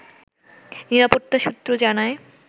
নিরাপত্তা সূত্র জানায়